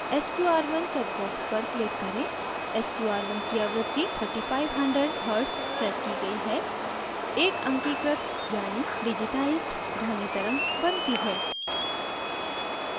sqr1 check box पर click करें sqr1 की आवृत्ति 3500hz set की गयी है एक अंकीकृत यानि digitized ध्वनि तरंग बनती है